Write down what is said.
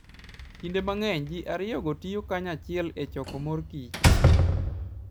Kinde mang'eny, ji ariyogo tiyo kanyachiel e choko mor kich.